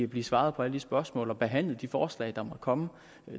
blive svaret på alle de spørgsmål og behandlet alle de forslag der måtte komme